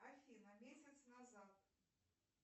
афина месяц назад